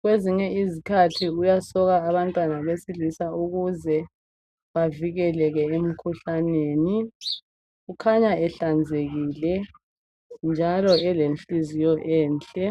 kwezinye izikhathi uyasoka abantwana besilisa ukuze bavikeleke emikhuhlaneni kukhanya ehlanzekile njalo elenhliziyo enhle.